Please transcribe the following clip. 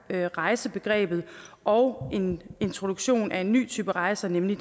pakkerejsebegrebet og en introduktion af en ny type rejser nemlig